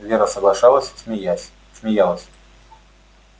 вера соглашалась смеясь смеялась